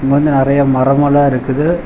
இங்க வந்து நறைய மரமல்லா இருக்குது.